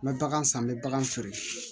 N bɛ bagan san n bɛ bagan sɔri